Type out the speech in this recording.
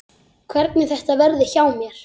Hvernig þetta verði hjá mér.